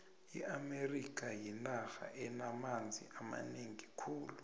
iamerika yinarha enamanzi amanengi khulu